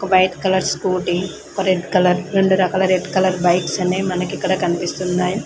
White colour scooty ఒక red colour రెండు రకాల రెడ్ కలర్ బైక్స్ అనేది మనకి ఇక్కడ కనిపిస్తున్నాయి.